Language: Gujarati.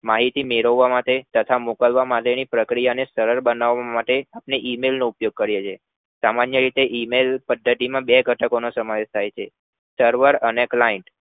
માહિતી મેળવવા માટે તથા મોકલવા માટે ની પ્રક્રિયા ને સરળ બનાવવા માટે email નો ઉપયોગ કરીએ છે સામાન્ય રીતે email પ્ધતિમાં બે ઘટકોનો સમાવેશ થાય છે server અને client